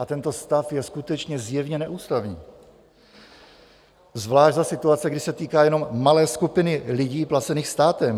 A tento stav je skutečně zjevně neústavní, zvlášť za situace, kdy se týká jenom malé skupiny lidí placených státem.